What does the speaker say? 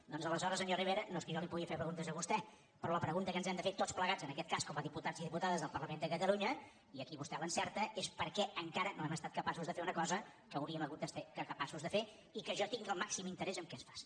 doncs aleshores senyor rivera no és que jo li pugui fer preguntes a vostè però la pregunta que ens hem de fer tots plegats en aquest cas com a diputats i diputades del parlament de catalunya i aquí vostè l’encerta és per què encara no hem estat capaços de fer una cosa que hauríem hagut de ser capaços de fer i que jo tinc el màxim interès que es faci